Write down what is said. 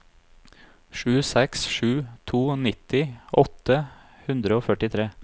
sju seks sju to nitti åtte hundre og førtitre